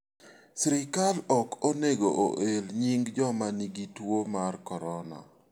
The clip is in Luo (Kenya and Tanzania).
Sirkal ok onego oel nying joma nigi tuo mar corona.